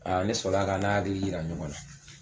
Ne sɔrɔla ka n'a hakili yira ɲɔgɔn na